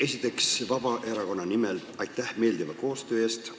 Esiteks, Vabaerakonna nimel aitäh meeldiva koostöö eest!